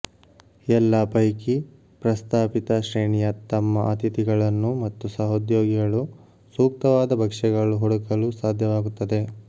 ಎಲ್ಲಾ ಪೈಕಿ ಪ್ರಸ್ತಾಪಿತ ಶ್ರೇಣಿಯ ತಮ್ಮ ಅತಿಥಿಗಳನ್ನು ಮತ್ತು ಸಹೋದ್ಯೋಗಿಗಳು ಸೂಕ್ತವಾದ ಭಕ್ಷ್ಯಗಳು ಹುಡುಕಲು ಸಾಧ್ಯವಾಗುತ್ತದೆ